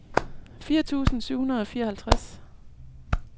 fire tusind syv hundrede og fireoghalvtreds